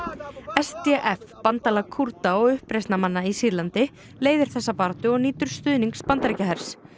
s d f bandalag Kúrda og uppreisnarmanna í Sýrlandi leiðir þessa baráttu og nýtur stuðnings Bandaríkjahers